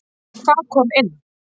Hvað kom inn?